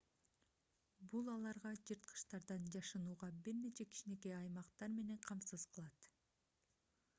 бул аларга жырткычтардан жашынууга бир нече кичинекей аймактар менен камсыз кылат